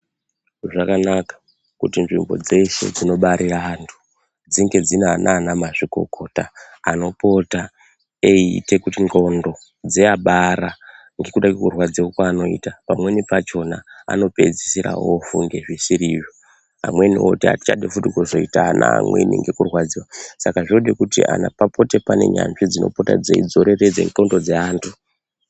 Zvakanaka kuti nzvimbo dzeshe dzinobarira antu dzinge dzine anana mazvikokota anopota eiite kuti nxondo dzeabara ngekuda kwekurwadziwa kwaanoita pamweni pachona anopedzisira ofunge zvisirizvo, amweni oti atichadi futi kuzoita ana amweni ngekurwadziwa saka zvinode kuti papote paine nyanzvi dzinopota dzeidzoreredze nxondo dzeantu.